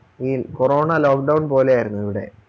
ഈ corona Lockdown പോലെയായിരുന്നു ഇവിടെ